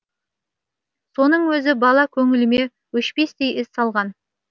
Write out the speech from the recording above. соның өзі бала көңіліме өшпестей із салған